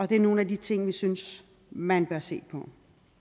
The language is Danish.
det er nogle af de ting vi synes man bør se på